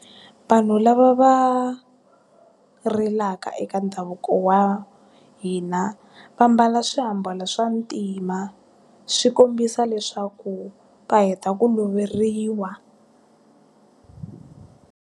Vanhu lava va, rilaka eka ndhavuko wa hina, va mbala swiambalo swa ntima. Swi kombisa leswaku va heta ku loveriwa.